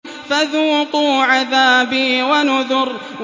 فَذُوقُوا عَذَابِي وَنُذُرِ